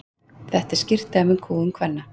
þetta er skýrt dæmi um kúgun kvenna